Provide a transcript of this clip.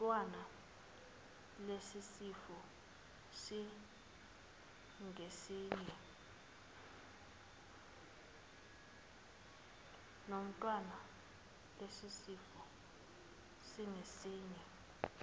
nomntwana lesisifo singesinye